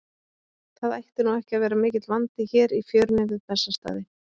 Það ætti nú ekki að vera mikill vandi hér í fjörunni við Bessastaði.